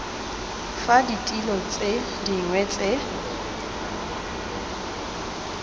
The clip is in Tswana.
fa ditilo tse dingwe tse